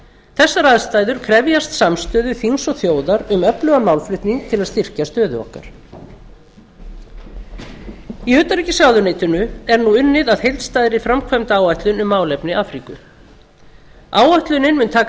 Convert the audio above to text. þessar aðstæður krefjast samstöðu þings og þjóðar um öflugan málflutning til að styrkja stöðu okkar háttvirtir alþingismenn í utanríkisráðuneytinu er nú unnið að heildstæðri framkvæmdaáætlun um málefni afríku áætlunin mun taka